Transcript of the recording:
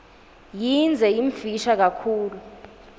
yindze yimfisha kakhulu